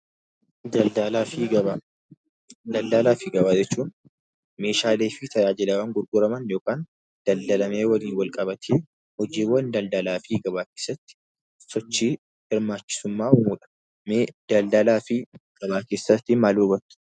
Daldalaa fi Gabaa jechuun meeshaalee fi tajaajilawwan gurguraman yookaan daldalamee waliin wal qabatee hojiiwwan daldalaa fi gabaa keessatti sochii hirmaachisummaa uumudha. Mee daldalaa fi gabaa keessaatii maal hubattu?